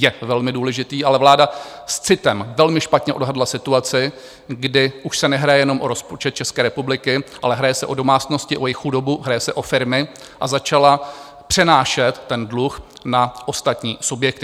Je velmi důležitý, ale vláda s citem velmi špatně odhadla situaci, kdy už se nehraje jenom o rozpočet České republiky, ale hraje se o domácnosti, o jejich chudobu, hraje se o firmy, a začala přenášet ten dluh na ostatní subjekty.